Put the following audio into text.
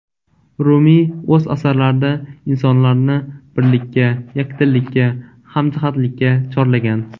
Rumiy o‘z asarlarida insonlarni birlikka, yakdillikka, hamjihatlikka chorlagan.